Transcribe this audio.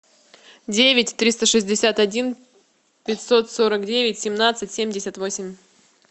девять триста шестьдесят один пятьсот сорок девять семнадцать семьдесят восемь